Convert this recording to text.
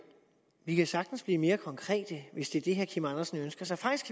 vi kan sagtens blive mere konkrete hvis det er det herre kim andersen ønsker sig faktisk